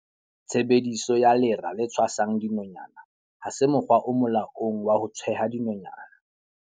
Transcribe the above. Tshebediso ya lera le tshwasang dinonyana ha se mokgwa o molaong wa ho tjheha dinonyana.